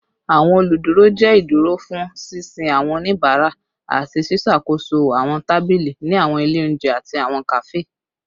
Awọn oluduro jẹ iduro fun sisin awọn onibara ati ṣiṣakoso awọn tabili ni awọn ile ounjẹ ati awọn kafe